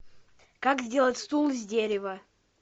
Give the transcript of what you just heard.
как сделать стул из дерева